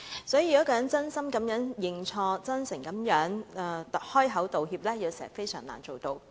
所以，要一個人真心認錯，甚至真誠地開口道歉，有時實難做到。